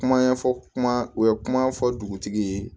Kuma ɲɛfɔ kuma u ye kuma fɔ dugutigi ye